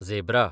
zebra